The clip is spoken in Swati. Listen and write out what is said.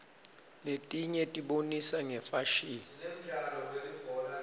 letinyetibonisa ngefasihni